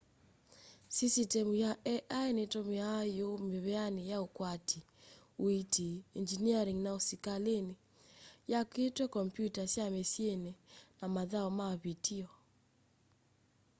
sisitemu ya ai nitumiawa yu miveani ya ukwati uiiti engyiniaring na usikalini yakitwe kompyutani sya misyini na mathau ma vitio